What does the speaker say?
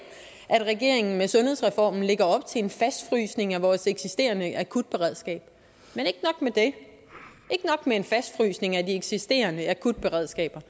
at regeringen med sundhedsreformen lægger op til en fastfrysning af vores eksisterende akutberedskab men ikke nok med en fastfrysning af de eksisterende akutberedskaber